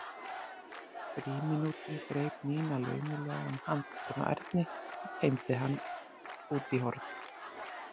frímínútum greip Nína laumulega um handlegginn á Erni og teymdi hann út í horn.